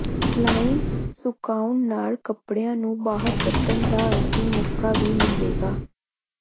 line ਸੁਕਾਉਣ ਨਾਲ ਕੱਪੜਿਆਂ ਨੂੰ ਬਾਹਰ ਕੱਢਣ ਦਾ ਅੰਤਿਮ ਮੌਕਾ ਵੀ ਮਿਲੇਗਾ